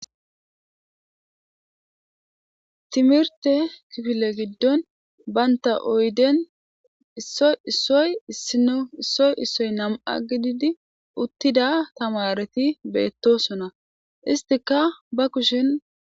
Timirite kifile giddoni banitta oyiden issoy issoy issino issoy issoy namati gidid uttida tamaret betosona issitikka ba kushshen